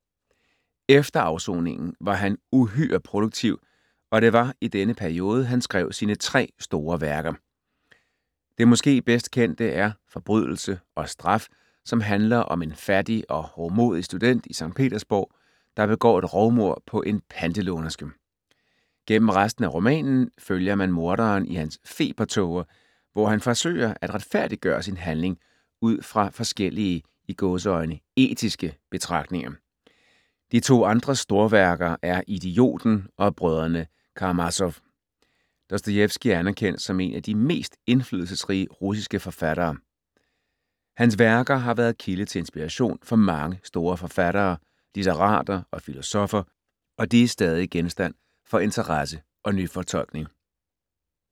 Efter afsoningen var han uhyre produktiv, og det var i denne periode, han skrev sine tre store værker. Det måske bedst kendte er Forbrydelse og straf, som handler om en fattig og hovmodig student i Skt. Petersborg, der begår et rovmord på en pantelånerske. Gennem resten af romanen følger man morderen i hans febertåger, hvor han forsøger at retfærdiggøre sin handling ud fra forskellige "etiske" betragtninger. De to andre storværker er Idioten og Brødrene Karamazow. Dostojevskij er anerkendt som en af de mest indflydelsesrige russiske forfattere. Hans værker har været kilde til inspiration for mange store forfattere, litterater og filosoffer, og de er stadig genstand for interesse og nyfortolkning.